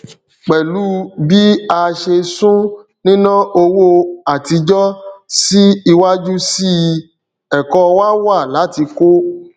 pẹlú bí a ṣe sún nina owó àtijọ sí iwájú síi ẹkọ wá wá láti kó